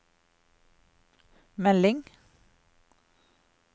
melding